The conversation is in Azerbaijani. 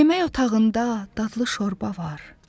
Yemək otağında dadlı şorba var.